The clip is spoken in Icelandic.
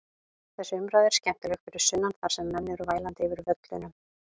Þessi umræða er skemmtileg fyrir sunnan þar sem menn eru vælandi yfir völlunum.